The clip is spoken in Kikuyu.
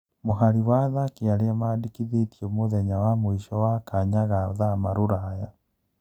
Mũhari wa athaki arĩa mandĩkithĩtio mũthenya wa mũico wa kanya ga thama Ruraya.